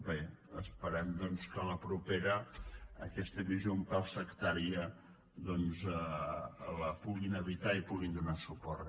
bé esperem doncs que a la propera aquesta visió un pèl sectària la puguin evitar i hi puguin donar suport